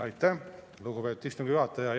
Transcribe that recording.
Aitäh, lugupeetud istungi juhataja!